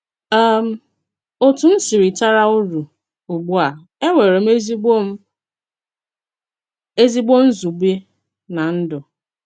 um Òtù M Sìrìtàrà Ùrù: Ùgbù a, ènwèrè m èzìgbò m èzìgbò nzùbè nà ndú.